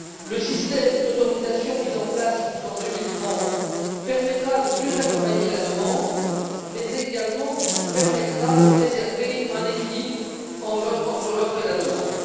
Le système d'autorisation mis en place jusqu'en 2030 permettra de mieux accompagner la demande mais permettra également de préserver un équilibre entre l'offre et la demande.